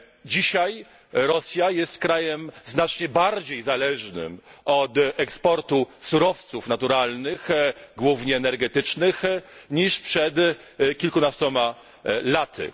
Dzisiaj Rosja jest krajem znacznie bardziej zależnym od eksportu surowców naturalnych, głównie energetycznych, niż przed kilkunastoma laty.